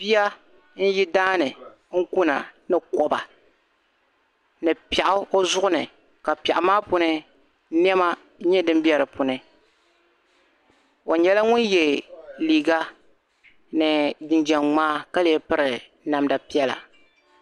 Bia n yo daani n kuna ni koba ni piɛɣu o zuɣu ni ka piɛɣu maa puuni nɛma n nyɛ din be di puuni o nyɛla ŋun ye liika nii ginjam ŋmaa ka lee piri namda piɛla